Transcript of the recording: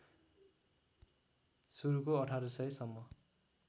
सुरुको १८०० सम्म